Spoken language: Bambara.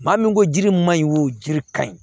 Maa min ko jiri ma ɲi o jiri ka ɲi